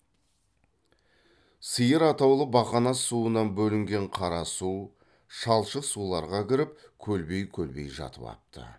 сиыр атаулы бақанас суынан бөлінген қара су шалшық суларға кіріп көлбей көлбей жатып апты